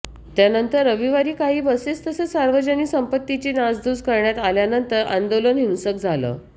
त्यानंतर रविवारी काही बसेस तसंच सार्वजनिक संपत्तीची नासधूस करण्यात आल्यानंतर आंदोलन हिंसक झालं